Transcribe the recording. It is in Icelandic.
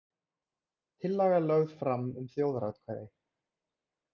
Tillaga lögð fram um þjóðaratkvæði